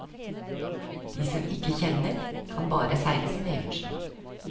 De som ikke kjenner, kan bare seile sin egen sjø.